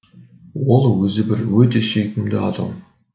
ол өзі бір өте сүйкімді адам